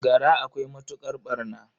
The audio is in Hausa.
Gara akwai matuƙar ɓarna.